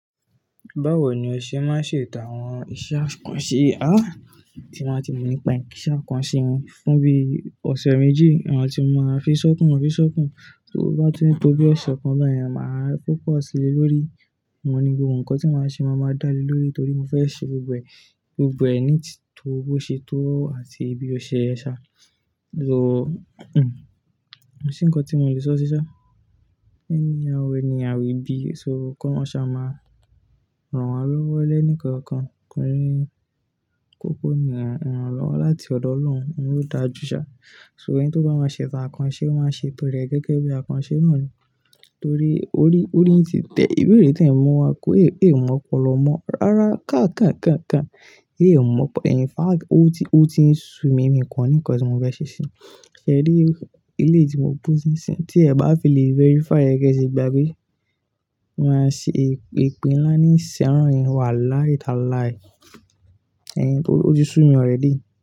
Báwo ni o ṣe máa ń ṣe ìtà àwọn iṣẹ́ àkànṣe, á, tí wọ́n ti mọ̀ nípa ẹ̀ kí iṣẹ́ àkànṣe óún fún bí ọ̀sẹ̀ méjì, ìwọ̀n tí màá fi ṣọ́kan, fi ṣọ́kan, tó bá ti tó bí ọ̀sẹ̀ kan bẹ́ẹ̀ ni màá fòkọ̀ sí i le lórí. Mo ní gbogbo nǹkan tí màá ṣe, màá máa dá lé lórí torí mo fẹ́ ṣe gbogbo ẹ̀, gbogbo ẹni tó bó ṣe tó àti ibi ọṣẹ ẹ ṣá. So, hhn, ó ṣe nǹkan tí mo lè sọ ṣíṣá. Ẹni àwọn ẹni àwẹ̀bí, so kọ́ ṣá máa rọ̀ wá lọ́wọ́ ẹlẹ́ni kankan, kí n kúkú ni rọ̀ wá láti ọ̀dọ̀ Ọlọ́run, òun ó dáa jù ṣá. So ọ̀yẹ́ tó bá máa ṣe ṣá àkànṣe, ó máa ṣe bẹ̀rẹ̀ gẹ́gẹ́ bí àkànṣe náà ni. Torí ó rí, ó rí tìtẹ̀ ìbéèrè tí ẹ̀ mọ̀ wá kó èyí, èyí ò mọ́ pọ̀ lọ mọ́. Rárá káàkán, káàkán, káàkán èyí ò mọ̀ pọ̀. Ẹ̀yin fact ó ti, ó ti ń sú mi imí kan ní nǹkan tí mo fẹ́ ṣe ṣíṣe. Ẹ dé ilé tí mo gbé ṣíṣe, tí ẹ̀ bá fi lè verify, ẹ kí ẹ sì gba pé màá ṣe epe ńlá ní ìṣẹ́ àránì wá láì ta láì. Ẹ̀yin pé ó ti sú mi ọ̀rẹ́ díì.